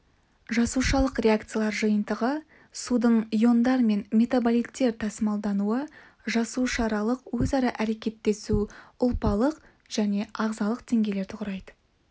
жасушалық реакциялар жиынтығы судың иондар мен метаболиттер тасымалдануы жасуша аралық өзара әрекеттесу ұлпалық және ағзалық деңгейлерді құрайды